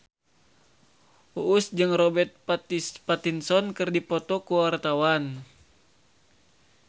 Uus jeung Robert Pattinson keur dipoto ku wartawan